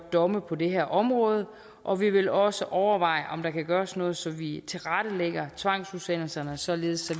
domme på det her område og vi vil også overveje om der kan gøres noget så vi tilrettelægger tvangsudsendelserne således